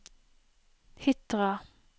Hitra